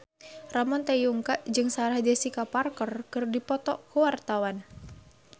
Ramon T. Yungka jeung Sarah Jessica Parker keur dipoto ku wartawan